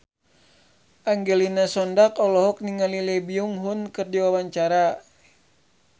Angelina Sondakh olohok ningali Lee Byung Hun keur diwawancara